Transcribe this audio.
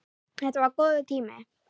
Þetta var góður tími.